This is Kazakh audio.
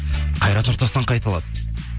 қайрат нұртастан қайталады